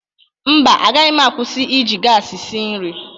Mba, agaghị m akwụsi iji gaasị si nri.